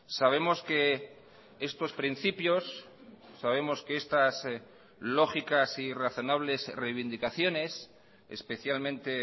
sabemos que estos principios sabemos que estas lógicas y razonables reivindicaciones especialmente